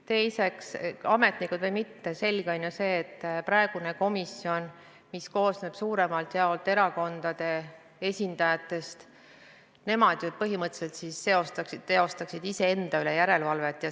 Teiseks, ametnikud või mitte, selge on, et praegune komisjon, mis koosneb suuremalt jaolt erakondade esindajatest, põhimõtteliselt teostab iseenda üle järelevalvet.